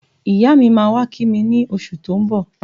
Iya mi máa wá kí mi ní oṣù tí ó ń bọ̀